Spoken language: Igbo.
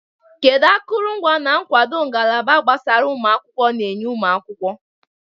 Kedu akụrụngwa na nkwado ngalaba gbasara ụmụ akwụkwọ na-enye ụmụ akwụkwọ?